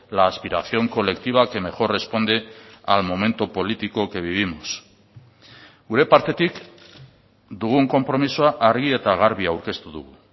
la aspiración colectiva que mejor responde al momento político que vivimos gure partetik dugun konpromisoa argi eta garbi aurkeztu dugu